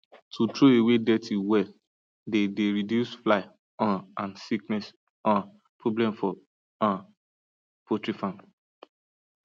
to throw away dirty well dey dey reduce fly um and sickness um problem for um poultry farm